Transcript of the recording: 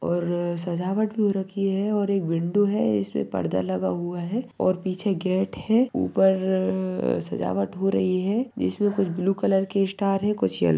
और सजावट भी हो रखी है और एक विंडो है इसपे पर्दा लगा हुआ है और पीछे गेट है ऊपर सजावट हो रही है जिसमे कुछ ब्लू कलर के स्टार है कुछ येल --